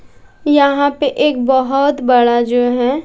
यहां पे एक बहोत बड़ा जो हैं --